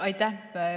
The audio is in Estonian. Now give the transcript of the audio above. Aitäh!